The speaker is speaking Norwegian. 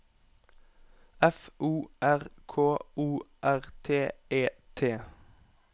F O R K O R T E T